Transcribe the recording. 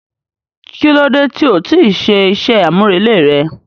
Kilode ti o ti ṣe iṣẹ amurele rẹ?